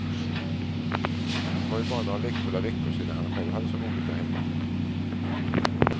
Det var ju bara några lekfulla veckor sedan han själv hade så roligt därhemma.